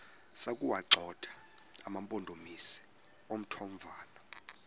sokuwagxotha amampondomise omthonvama